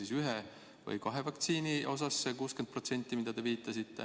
Kas see on ühe või kahe süstiga?